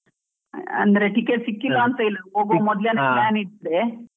ಅಂದ್ರೆ ticket ಸಿಕ್ಕಿಲ್ಲಾ ಮೊದ್ಲೇನೆ plan ಇದ್ದೆ.